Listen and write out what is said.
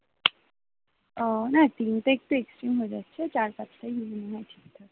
উহ না তিনটা একটু extreme হয়ে যাচ্ছে চার পাঁচটাই মনে হয় ঠিক আছে